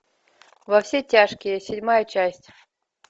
во все тяжкие седьмая часть